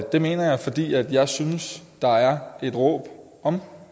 det mener jeg fordi jeg synes der er et råb om